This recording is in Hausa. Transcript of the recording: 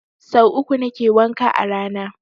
Sau uku nake wanka a rana